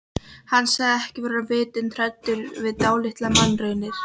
Hann sagðist ekki vera vitund hræddur við dálitlar mannraunir.